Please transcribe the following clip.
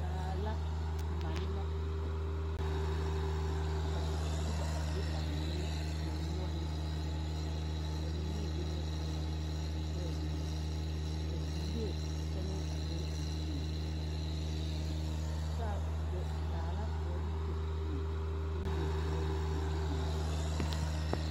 Baa la mane la a kyɛ ka noba be a mane kõɔ noɔreŋ are ba mine biŋ la talaa a na pɛge boma ka beere tane a gaŋ a zieŋ ta do daa la ka ba de kyɛpoɔ k'o leɛ voɔre ka ba de biŋ a be.